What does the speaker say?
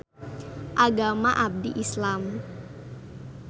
Agama abdi Islam